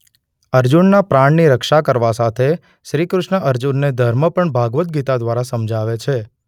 અર્જુનના પ્રાણની રક્ષા કરવા સાથે શ્રી કૃષ્ણ અર્જુનને ધર્મ પણ ભાગવદ ગીતા દ્વારા સમજાવે છે.